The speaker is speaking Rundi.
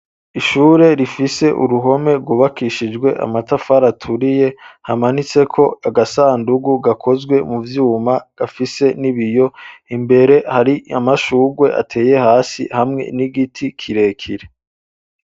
Ishure rifise uruhome gwubakishijwe amatafari aturiye hamanitseko agasandugu gakozwe mu byuma gafise n'ibiyo imbere hari amashugwe ateye hasi hamwe n'igiti kirekire.